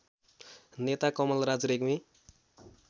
नेता कमलराज रेग्मी